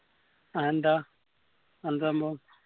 അതെന്താ എന്ത് സംഭവോ